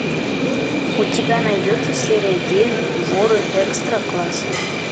у тебя найдется серия девять воры экстра класса